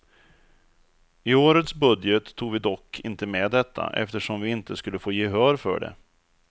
I årets budget tog vi dock inte med detta, eftersom vi inte skulle få gehör för det.